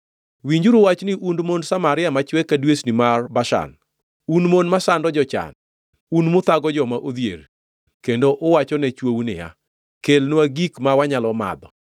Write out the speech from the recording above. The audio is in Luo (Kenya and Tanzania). Winjuru wachni, un mond Samaria machwe ka dwesni ma Bashan, un mon masando jochan, un muthago joma odhier, kendo uwachone chwou niya, “Kelnwa gik ma wanyalo madho!”